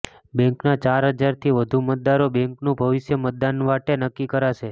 બેંકના ચારહજારથી વધુ મતદારો બેંકનું ભવિષ્ય મતદાન વાટે નક્કી કરશે